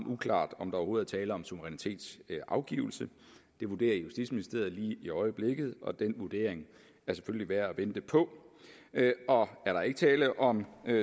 uklart om der overhovedet er tale om suverænitetsafgivelse det vurderer justitsministeriet lige i øjeblikket og den vurdering er selvfølgelig værd at vente på er der ikke tale om